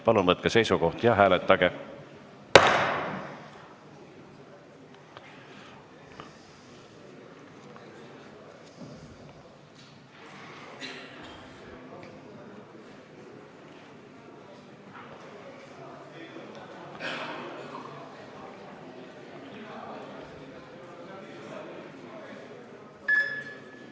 Palun võtke seisukoht ja hääletage!